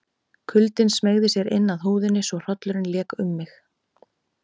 Kuldinn smeygði sér inn að húðinni svo hrollurinn lék um mig.